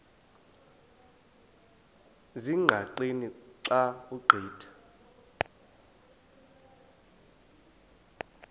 ezingqaqeni xa ugqitha